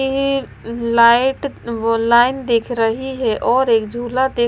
ये लाइट वो लाइन देख रही है और एक झूला देख--